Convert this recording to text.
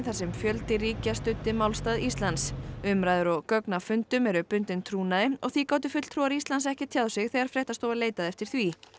þar sem fjöldi ríkja studdi málstað Íslands umræður og gögn af fundum eru bundin trúnaði og því gátu fulltrúar Íslands ekki tjáð sig þegar fréttastofa leitaði eftir því